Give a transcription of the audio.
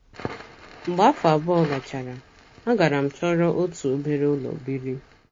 Mgbe afọ abụọ gachara, agara m chọrọ otu obere ụlọ biri.